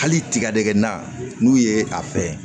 Hali tigadɛgɛna n'u ye a fɛ